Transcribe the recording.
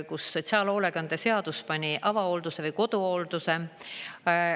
Sotsiaalhoolekande seadus pani avahoolduse või koduhoolduse.